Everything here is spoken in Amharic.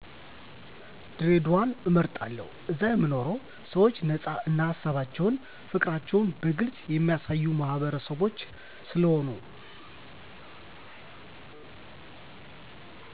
ድሬዳዋን እመርጣለሁ እዛ የሚኖሩ ሰዎቸ ነፃ እና ሀሳባቸውን ፋቅራቸዉን በግልፅ የሚያሳዩ ማህበረሰቦች ስለሆኑ